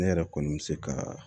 Ne yɛrɛ kɔni bɛ se ka